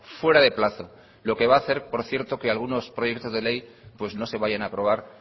fuera de plazo lo que va a hacer que algunos proyectos de ley pues no se vayan a aprobar